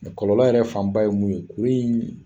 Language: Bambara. Kɔlɔlɔ yɛrɛ fanba ye mun ye kuru in